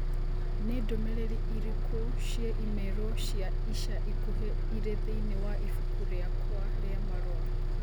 Nĩ ndũmĩrĩri irĩkũ cia i-mīrū cia ica ikuhĩ irĩ thĩinĩ wa ibuku rĩakwa rĩa marũa